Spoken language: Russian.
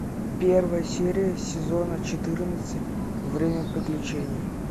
первая серия сезона четырнадцать время приключений